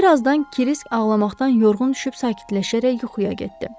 Bir azdan Krisk ağlamaqdan yorğun düşüb sakitləşərək yuxuya getdi.